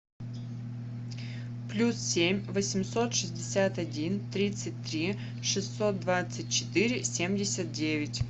плюс семь восемьсот шестьдесят один тридцать три шестьсот двадцать четыре семьдесят девять